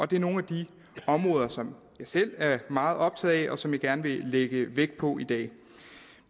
det er nogle af de områder som jeg selv er meget optaget af og som jeg gerne vil lægge vægt på i dag